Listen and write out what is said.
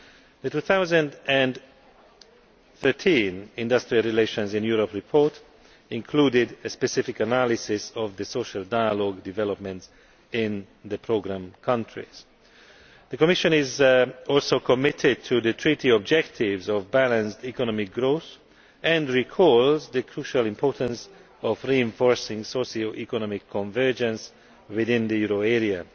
The 2013 Industrial Relations in Europe Report included a specific analysis of social dialogue developments in the programme countries. The Commission is also committed to the Treaty objectives of balanced economic growth, and it recognises the crucial importance of reinforcing socio economic convergence within the euro area.